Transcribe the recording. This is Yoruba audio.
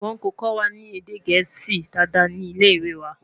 wón kò kọwa ní èdè gẹ̀ẹ́sì Dàda ní ilẹ ìwé wà